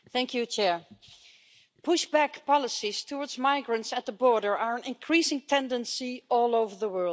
Madam President, pushback policies towards migrants at the border are an increasing tendency all over the world.